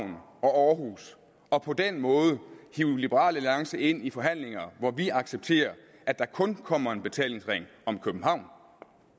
og aarhus og på den måde hive liberal alliance ind i forhandlinger hvor vi accepterer at der kun kommer en betalingsring om københavn